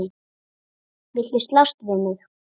Viltu slást við mig?